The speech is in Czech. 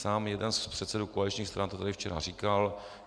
Sám jeden z předsedů koaličních stran to tady včera říkal.